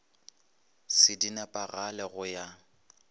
se di nepagale go ya